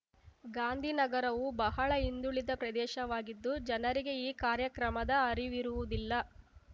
ಗಾಂಧಿನಗರವು ಬಹಳ ಹಿಂದುಳಿದ ಪ್ರದೇಶವಾಗಿದ್ದು ಜನರಿಗೆ ಈ ಕಾರ್ಯಕ್ರಮದ ಅರಿವಿರುವುದಿಲ್ಲ